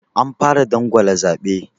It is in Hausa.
Anfara dangwala zaɓe?